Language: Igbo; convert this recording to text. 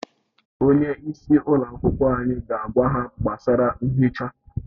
Onye isi ụlọ anyị ga-agwa ha gbasara nhicha